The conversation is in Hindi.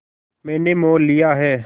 मैंने मोल लिया है